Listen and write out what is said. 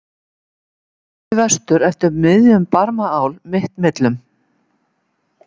. þaðan í vestur eftir miðjum Barmaál mitt millum?